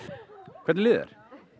hvernig líður